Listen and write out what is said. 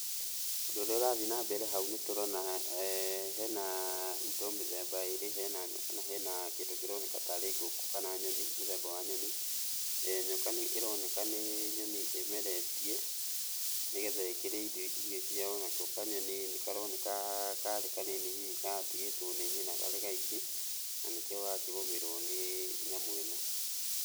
Ũndũ ũrĩa ũrathiĩ na mbere hau nĩtũrona hena indo mĩthemba ĩrĩ, hena nyoka na hena kĩndũ kĩroneka tarĩ ngũkũ kana nyoni mũthemba wa nyoni. Nyoka nĩ ĩroneka nĩ nyoni ĩmeretie nĩgetha ĩkĩrĩe indo irio ciayo. Nako kanyoni nĩkaroneka karĩ kanini hihi karatigĩtwo nĩ nyina hihi karĩ gaiki, na nĩkĩo gakĩgũmĩrwo nĩ nyamũ ĩno.